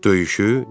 Döyüşü?